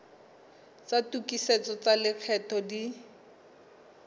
tsa tokisetso tsa lekgetho di